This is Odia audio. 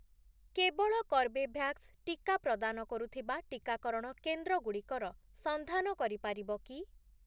କେବଳ କର୍ବେଭ୍ୟାକ୍ସ ଟିକା ପ୍ରଦାନ କରୁଥିବା ଟିକାକରଣ କେନ୍ଦ୍ରଗୁଡ଼ିକର ସନ୍ଧାନ କରିପାରିବ କି?